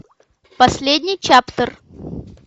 последний чаптер